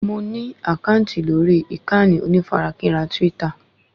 Mo ní àkáǹtì lórí ìkànnì onífarakínra twítà